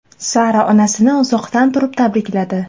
Sara onasini uzoqdan turib tabrikladi.